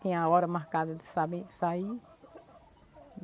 Tinha a hora marcada de saber, de sair.